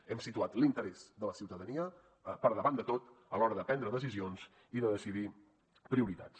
hem situat l’interès de la ciutadania per davant de tot a l’hora de prendre decisions i de decidir prioritats